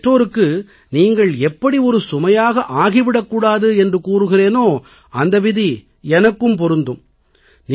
உங்கள் பெற்றோருக்கு நீங்கள் எப்படி சுமையாக ஆகி விடக் கூடாது என்று கூறுகிறேனோ அந்த விதி எனக்கும் பொருந்தும்